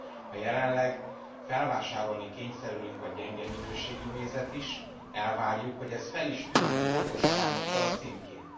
Ha jelenleg felvásárolni kényszerülünk a gyenge minőségű mézet is, elvárjuk, hogy ez fel is tűnjön pontos arányokkal a címkén.